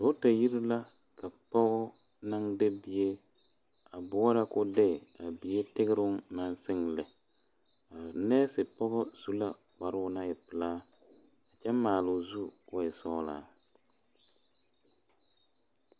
Dɔɔba yiri la ka pɔge naŋ de bie a boɔrɔ ko'o de a bie tigre naŋ sige lɛ neese pɔge su la kpare naŋ e pelaa kyɛ maalo zu ko'o e sɔglaa.